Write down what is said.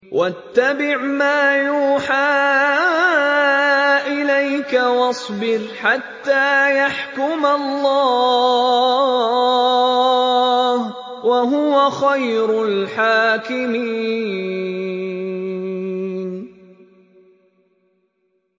وَاتَّبِعْ مَا يُوحَىٰ إِلَيْكَ وَاصْبِرْ حَتَّىٰ يَحْكُمَ اللَّهُ ۚ وَهُوَ خَيْرُ الْحَاكِمِينَ